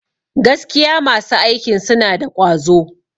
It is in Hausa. Gaskiya masu aikin suna da ƙwazo.